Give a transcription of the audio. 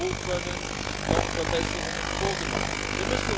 Wo können noch Verbesserungen vorgenommen werden?